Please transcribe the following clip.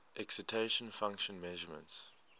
excitation function measurements